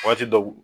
Waati dɔw